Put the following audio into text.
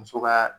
Muso ka